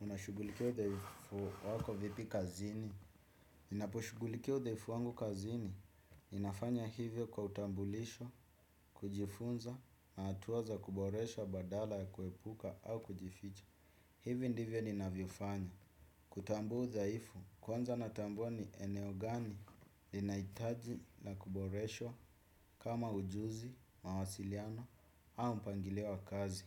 Unashughulikia udhaifu wako vipi kazini? Ninaposhughulikia udhaifu wangu kazini ninafanya hivyo kwa utambulisho, kujifunza, na hatua za kuboresha badala ya kuepuka au kujificha. Hivi ndivyo ninavyofanya. Kutambua udhaifu, kwanza natambua ni eneo gani linahitaji la kuboreshwa kama ujuzi, mawasiliano au mpangilio wa kazi.